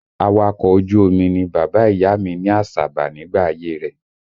Awakọ̀ ojú omi ni bàbá ìyá mi ní Àsàbà nígbà ayé rẹ̀